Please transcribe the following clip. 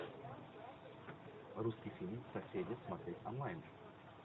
русский фильм соседи смотреть онлайн